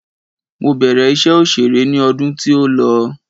Mo bẹ̀rẹ̀ iṣẹ́ òṣèré ni ọdún tí o lọ